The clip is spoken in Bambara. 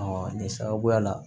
nin sababuya la